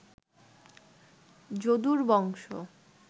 যদুর বংশ